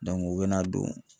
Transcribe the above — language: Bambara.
u bɛ na don